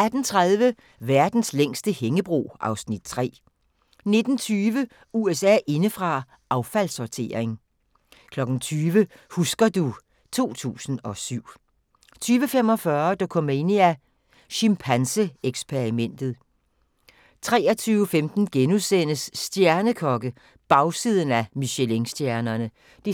18:30: Verdens længste hængebro (Afs. 3) 19:20: USA indefra: Affaldssortering 20:00: Husker du ... 2007 20:45: Dokumania: Chimpanse-eksperimentet 23:15: Stjernekokke -– Bagsiden af Michelinstjernerne (3:3)*